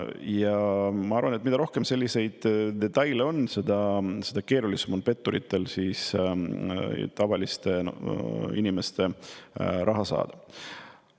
Ja ma arvan, et mida rohkem selliseid detaile on, seda keerulisem on petturitel tavaliste inimeste raha kätte saada.